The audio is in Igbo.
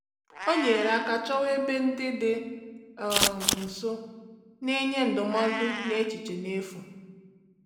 Ọ nyere aka chọwa ebe ndị dị um nso na-enye ndụmọdụ n’echiche n’efu.